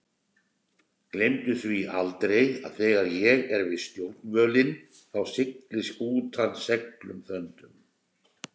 Gleymdu því heldur aldrei að þegar ég er við stjórnvölinn þá siglir skútan seglum þöndum.